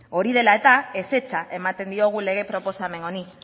hori dela eta ezetza ematen diogu lege proposamen honi